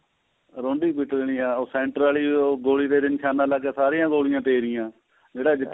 ਰੋਂਡੀ ਪਿਟਣੀ ਏ ਉਹ center ਵਾਲੀ ਗੋਲੀ ਦੇ ਨਿਸ਼ਾਨਾ ਲੱਗਿਆ ਸਾਰੀਆਂ ਗੋਲੀਆਂ ਤੇਰੀਆਂ ਜਿਹੜਾ ਜਿਤ